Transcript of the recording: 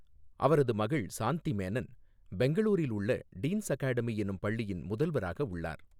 அவரது மகள் சாந்தி மேனன், பெங்களூரில் உள்ள டீன்ஸ் அகாடமி என்னும் பள்ளியின் முதல்வராக உள்ளார்.